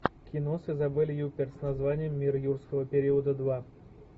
кино с изабель юппер с названием мир юрского периода два